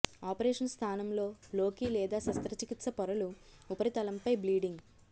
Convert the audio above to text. operation స్థానంలో లోకి లేదా శస్త్రచికిత్స పొరలు ఉపరితలంపై బ్లీడింగ్